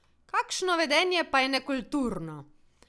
Kakšno vedenje pa je nekulturno?